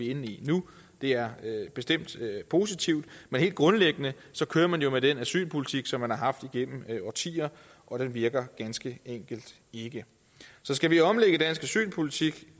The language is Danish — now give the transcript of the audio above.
inde i nu det er bestemt positivt men helt grundlæggende kører man jo med den asylpolitik som man har haft igennem årtier og den virker ganske enkelt ikke skal vi omlægge dansk asylpolitik